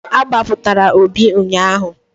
A gbapụtara Obi ụnyaahụ.